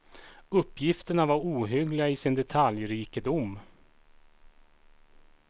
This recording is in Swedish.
Uppgifterna var ohyggliga i sin detaljrikedom.